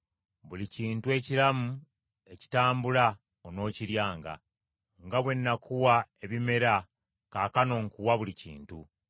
Buli kintu ekiramu, ekitambula onookiryanga. Nga bwe nakuwa ebimera, kaakano nkuwa buli kintu.